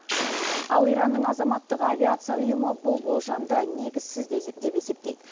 ал иранның азаматтық авиация ұйымы бұл болжамды негізсіз деп есептейді